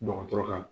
Dɔgɔtɔrɔ ka